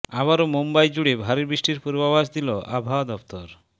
আবারও মুম্বই জুড়ে ভারী বৃষ্টির পূর্বাভাস দিল আবহাওয়া দফতর